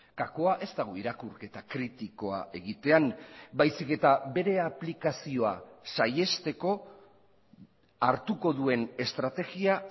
gakoa ez dago irakurketa kritikoa egitean baizik eta bere aplikazioa saihesteko hartuko duen estrategia